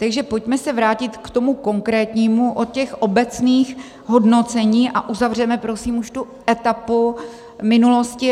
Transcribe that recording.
Takže pojďme se vrátit k tomu konkrétnímu od těch obecných hodnocení a uzavřeme prosím už tu etapu minulosti.